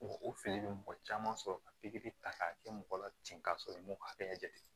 O fili bɛ mɔgɔ caman sɔrɔ ka pikiri ta k'a kɛ mɔgɔ la ten ka sɔrɔ i m'o bɛɛ jate